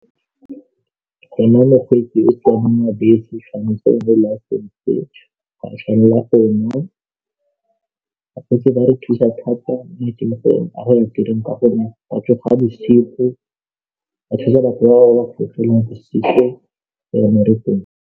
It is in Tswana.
go nna mokgweetsi o tswang mo robetse tshwanetse mo lapeng le ga a tshwanela gona bakgweetsi ba re thusa thata maitemogelo a go ya tirong ka gonne batsofe ha boshigo ba thusa batho ba ba fologelang bosigo yone re bone